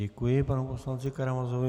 Děkuji panu poslanci Karamazovi.